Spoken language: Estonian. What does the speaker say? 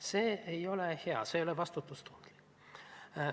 See ei ole hea, see ei ole vastutustundlik.